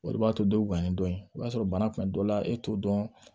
O de b'a to dɔ bɛ gan ni dɔ ye o b'a sɔrɔ bana kun dɔ la e t'o dɔn